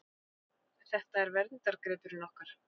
Þetta er verndargripurinn okkar.